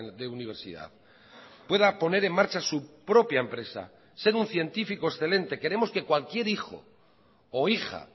de universidad pueda poner en marcha su propia empresa ser un científico excelente queremos que cualquier hijo o hija